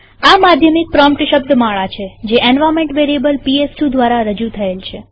આ માધ્યમિક પ્રોમ્પ્ટ શબ્દમાળા છે જે એન્વાર્નમેન્ટ વેરીએબલ પીએસ2 દ્વારા રજુ થયેલ છે